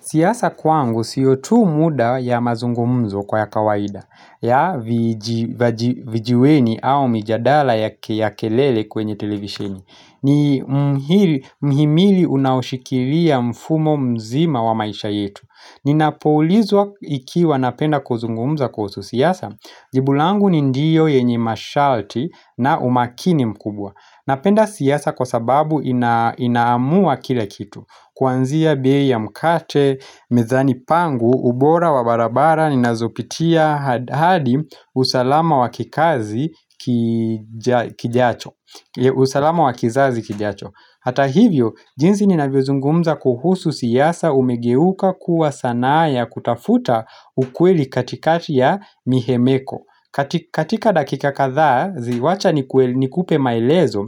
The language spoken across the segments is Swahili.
Siasa kwangu, siyo tu muda ya mazungumzo kwa ya kawaida, ya vijiweni au mijadala ya kelele kwenye televisheni. Ni mhimili unaoshikilia mfumo mzima wa maisha yetu. Ninapoulizwa ikiwa napenda kuzungumza kuhusu siasa, jibulangu ni ndiyo yenye masharti na umakini mkubwa. Napenda siasa kwa sababu inaamua kila kitu Kwanzia bei ya mkate, mezani pangu, ubora wa barabara, ninazopitia, hadi usalama wakikazi kijacho usalama wakizazi kijacho Hata hivyo, jinzi ninavyozungumza kuhusu sissa umegeuka kuwa sanaa ya kutafuta ukweli katikati ya mihemeko katika dakika kadhaa, ziwacha nikupe maelezo,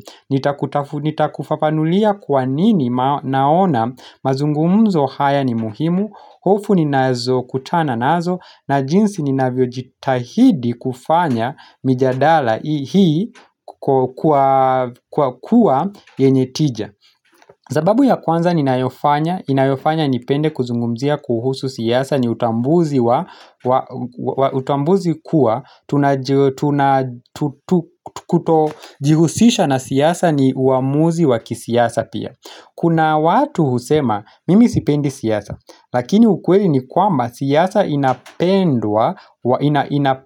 nitakufafanulia kwa nini naona mazungumzo haya ni muhimu, hofu ni nazo kutana nazo, na jinsi ni navyojitahidi kufanya mijadala hii kwa kuwa yenye tija. Zababu ya kwanza ninayofanya, inayofanya nipende kuzungumzia kuhusu siasa ni utambuzi kuwa, kutojihusisha na siyasa ni uamuzi waki siyasa pia. Kuna watu husema, mimi sipendi siasa, lakini ukweli ni kwamba siyasa inapendwa,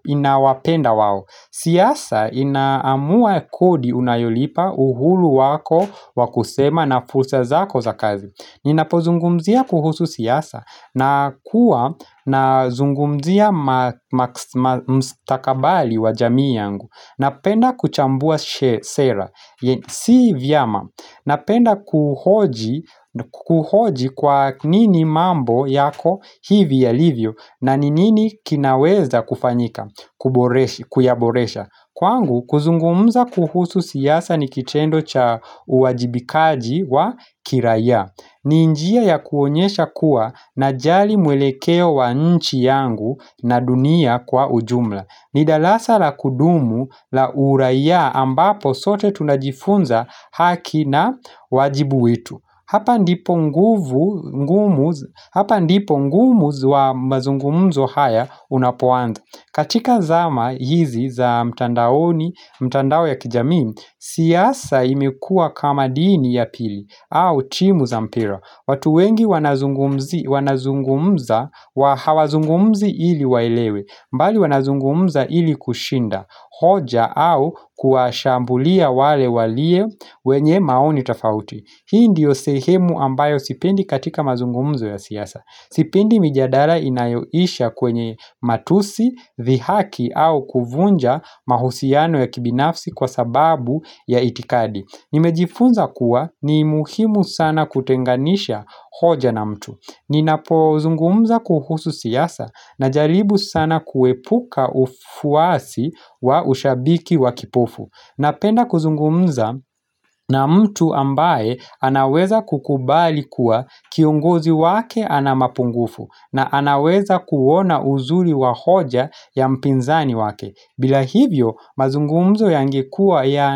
inawapenda wao Sissa inaamua kodi unayolipa uhuru wako wakusema na fulsa zako za kazi Ninapo zungumzia kuhusu siasa, na kuwa na zungumzia mstakabali wa jamii yangu Napenda kuchambua sera, si vyama. Napenda kuhuhoji kwa nini mambo yako hivi ya livyo na nini kinaweza kufanyika, kuyaboresha. Kwangu, kuzungumza kuhusu siasa ni kitendo cha uwajibikaji wa kiraiya. Ninjia ya kuonyesha kuwa na jali mwelekeo wa nchi yangu na dunia kwa ujumla. Nidarasa la kudumu la uraia ambapo sote tunajifunza haki na wajibu wetu hapa ndipo nguvu Hapa ndipo ngumuz wa mazungumuzo haya unapoanza katika zama hizi za mtandaoni, mtandao ya kijami siasa imekua kama dini ya pili au timu za mpira watu wengi wanazungumza wa hawazungumzi ili waelewe mbali wanazungumza ili kushinda hoja au kuwashambulia wale walie wenye maoni tafauti Hii ndiyo sehemu ambayo sipendi katika mazungumzo ya siasa Sipendi mijadara inayoisha kwenye matusi, vihaki au kuvunja mahusiano ya kibinafsi kwa sababu ya itikadi Nimejifunza kuwa ni muhimu sana kutenganisha hoja na mtu Ninapuwa zungumza kuhusu siasa na jaribu sana kuwepuka ufuasi wa ushabiki wa kipofu Napenda kuzungumza na mtu ambaye anaweza kukubali kuwa kiongozi wake ana mapungufu na anaweza kuwona uzuri wa hoja ya mpinzani wake bila hivyo mazungumzo ya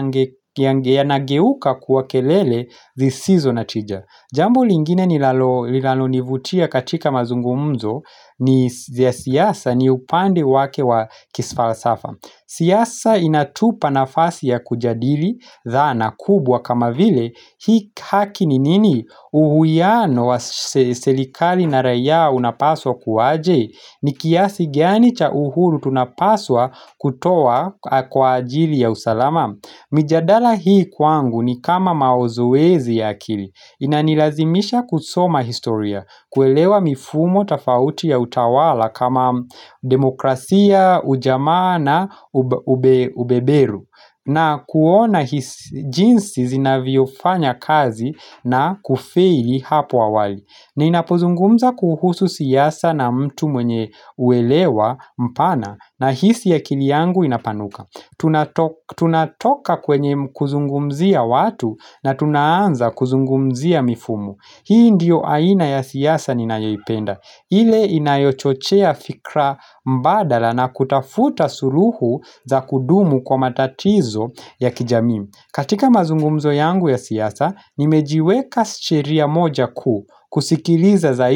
nageuka kuwa kelele zisizo natija Jambo lingine nilalonivutia katika mazungumzo ni siyasa ni upande wake wa kisalsafa. Siasa inatupa nafasi ya kujadili dhana kubwa kama vile hii haki nini uhuiano wa serikali na raiaa unapaswa kuwaje. Nikiasi giani cha uhuru tunapaswa kutoa kwa ajili ya usalama. Mijadala hii kwangu ni kama maozowezi ya akili Inanilazimisha kusoma historia kuelewa mifumo tafauti ya utawala kama demokrasia, ujamana, ubeberu na kuona jinsi zinavyofanya kazi na kufeli hapo awali na inapozungumza kuhusu siyasa na mtu mwenye uelewa mpana na hisi ya akili yangu inapanuka Tunatoka kwenye kuzungumzia watu na tunaanza kuzungumzia mifumo Hii ndiyo aina ya siasa ni nayoipenda ile inayochochia fikra mbadala na kutafuta suruhu za kudumu kwa matatizo ya kijami katika mazungumzo yangu ya siasa, nimejiweka sheria moja kuu kusikiliza zaidi.